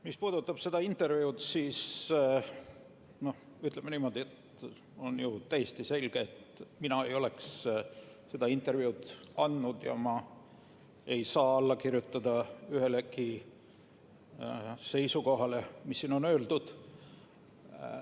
Mis puudutab seda intervjuud, siis ütleme niimoodi, et on ju täiesti selge, et mina ei oleks seda intervjuud andnud ja ma ei saa alla kirjutada ühelegi seisukohale, mis on öeldud.